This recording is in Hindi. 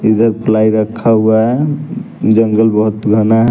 इधर प्लाई रखा हुआ है जंगल बहुत घना है।